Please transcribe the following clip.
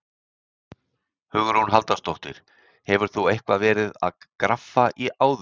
Hugrún Halldórsdóttir: Hefur þú eitthvað verið að graffa áður?